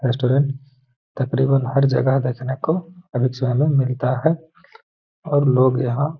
restaurant तक़रीबन हर जगह देखने को मिलता है और लोग यहाँ --